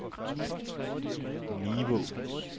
Nivå